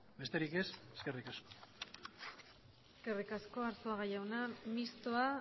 besterik ez eskerrik asko eskerrik asko arzuaga jauna mistoa